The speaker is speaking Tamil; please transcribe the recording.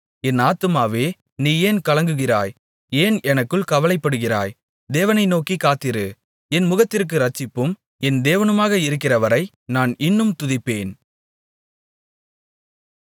என் ஆத்துமாவே நீ ஏன் கலங்குகிறாய் ஏன் எனக்குள் கவலைப்படுகிறாய் தேவனை நோக்கிக் காத்திரு என் முகத்திற்கு இரட்சிப்பும் என் தேவனுமாக இருக்கிறவரை நான் இன்னும் துதிப்பேன்